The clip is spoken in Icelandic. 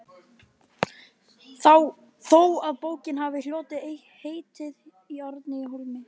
þó að bókin hafi hlotið heitið Árni í Hólminum.